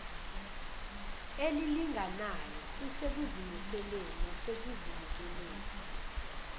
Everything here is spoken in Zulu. elilinganayo kusekuzimiseleni nasekuzinikeleni